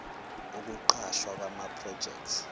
ukuqashwa kwama project